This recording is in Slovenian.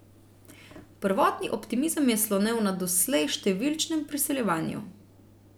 Prvotni optimizem je slonel na doslej številčnem priseljevanju.